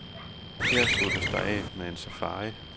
Her sluttes der af med en safari.